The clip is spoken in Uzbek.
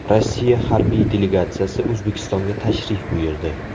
Rossiya harbiy delegatsiyasi O‘zbekistonga tashrif buyurdi.